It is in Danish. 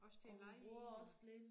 Også til at lege i og